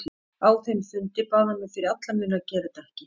Á þeim fundi bað hann mig fyrir alla muni að gera þetta ekki.